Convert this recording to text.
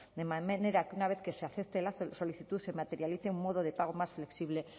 de manera que una vez que se acepte la solicitud se materialice un modo de pago más flexible